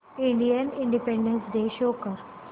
Indian Independence Day show कर